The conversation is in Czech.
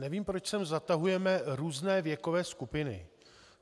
Nevím, proč sem zatahujeme různé věkové skupiny.